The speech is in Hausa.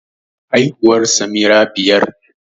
Haihuwar Samira biyar